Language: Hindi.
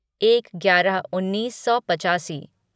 एक ग्यारह उन्नीस सौ पचासी